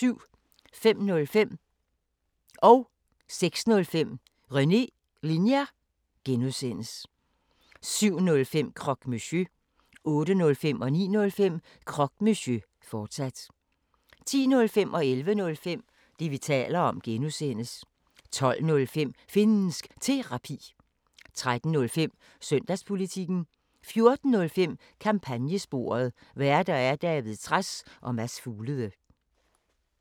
05:05: René Linjer (G) 06:05: René Linjer (G) 07:05: Croque Monsieur 08:05: Croque Monsieur, fortsat 09:05: Croque Monsieur, fortsat 10:05: Det, vi taler om (G) 11:05: Det, vi taler om (G) 12:05: Finnsk Terapi 13:05: Søndagspolitikken 14:05: Kampagnesporet: Værter: David Trads og Mads Fuglede